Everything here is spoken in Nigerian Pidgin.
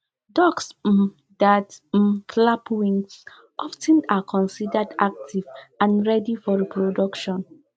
ducks um that um flap wings of ten are considered active and ready for reproduction